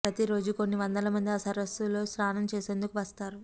ప్రతి రోజు కొన్ని వందల మంది ఆ సరస్సులో స్నానం చేసేందుకు వస్తారు